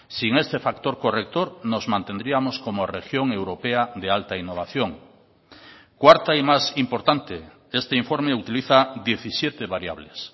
sin este factor corrector nos mantendríamos como región europea de alta innovación cuarta y más importante este informe utiliza diecisiete variables